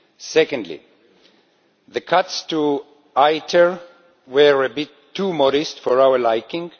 Secondly, the cuts to ITER were a bit too modest for our liking.